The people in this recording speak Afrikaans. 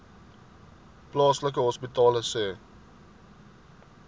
plaaslike hospitale sê